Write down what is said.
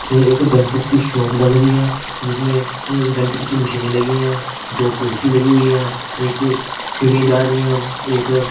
यह एक डेंटिस्ट की शॉप लग रही है जिसमें डेंटिस्ट की मशीनें लगी हैं दो कुर्सी लगी हुई है एक सीढ़ियां जा रही हैं एक--